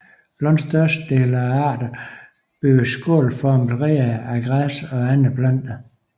Langt størstedelen af arterne bygger skålformede reder af græs og andre planter